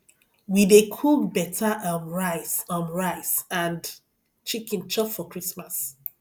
we dey cook beta um rice um rice and chicken chop for christmas